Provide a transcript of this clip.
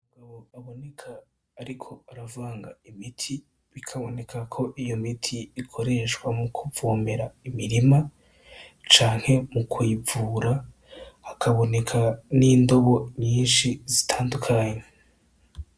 Umugabo aboneka ariko aravanga imiti bikaboneka ko iyo miti ikoreshwa mu kuvomera mumirima canke mu kuyivura hakaboneka n'indobo nyinshi zitandukanye.